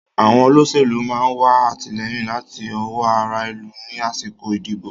Àwọn olóṣèlú máa wà àtìlẹ́yìn láti ọwọ́ ará ìlú ni àsìkò ìdìbò